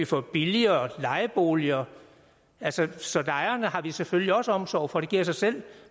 få billigere lejeboliger så lejerne har vi selvfølgelig også omsorg for det giver sig selv